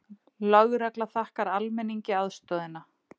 Lögregla þakkar almenningi aðstoðina